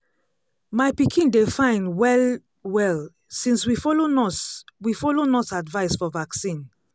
my pikin dey fine well-well since we follow nurse we follow nurse advice for vaccine.